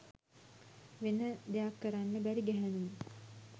වෙන දෙයක්කරන්න බැරි ගැහැනුන්